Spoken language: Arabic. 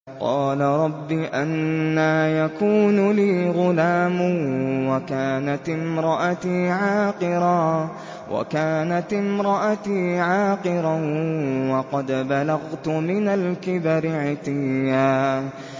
قَالَ رَبِّ أَنَّىٰ يَكُونُ لِي غُلَامٌ وَكَانَتِ امْرَأَتِي عَاقِرًا وَقَدْ بَلَغْتُ مِنَ الْكِبَرِ عِتِيًّا